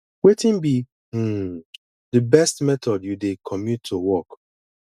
wetin be um di best method you dey commute to work